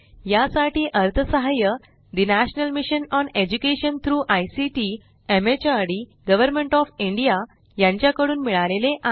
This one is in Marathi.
यासाठी अर्थसहाय्य the National Mission on Education through ICT MHRD Government of India कडून मिळाले आहे